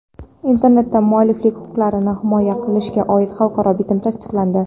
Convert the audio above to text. Internetda mualliflik huquqlarini himoya qilishga oid xalqaro bitim tasdiqlandi.